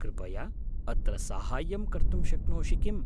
कृपया अत्र साहाय्यं कर्तुं शक्नोषि किम्?